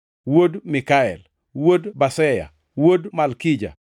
wuod Mikael, wuod Baseya, wuod Malkija,